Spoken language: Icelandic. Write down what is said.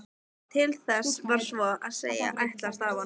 Til þess var svo að segja ætlast af honum.